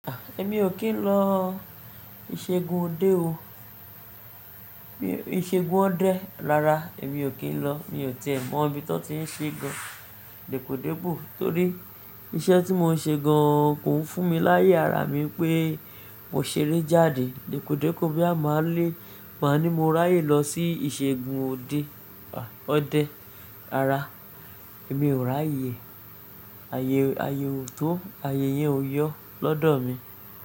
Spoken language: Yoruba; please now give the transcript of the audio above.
Èmi ò kí ń lọ ìṣègùn òde o. Ìṣègùn ọdẹ rara, èmi ò kí ń lọ. Mi ò ti è mọ ibi tí wọ́n ti ń ṣe gan-an dẹ́podẹ́po. Torí iṣẹ́ tí mò ń ṣe gan-an kò ń fún mi láyé ara mi pé mo ṣeré jáde dẹ́podẹ́po boya máa le pọ̀ ni mo ráyè lọ sí ìṣègùn òde, ọdẹ. Rara, èmi ò ráyè. Ayé, ayé ò tó, ayé yẹn ò yọ lọ́dọ̀ mi.